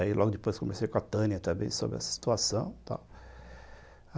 Aí, logo depois, comecei com a Tânia também sobre essa situação, tal.